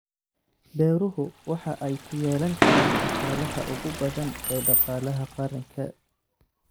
Beeruhu waxa ay ku yeelan karaan dhaqaalaha ugu badan ee dhaqaalaha qaranka.